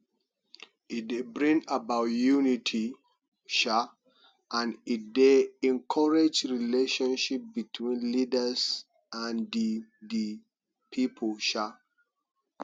e dey bring about unity um and e dey encourage relationship between leaders and di di people um